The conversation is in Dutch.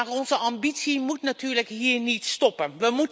Maar onze ambitie moet natuurlijk hier niet stoppen.